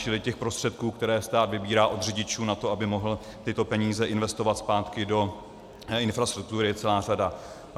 Čili těch prostředků, které stát vybírá od řidičů na to, aby mohl tyto peníze investovat zpátky do infrastruktury, je celá řada.